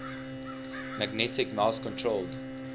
magnetic mouse controlled